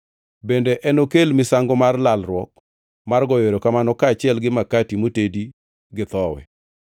Bende enokel misango mar lalruok mar goyo erokamano kaachiel gi makati moted gi thowi.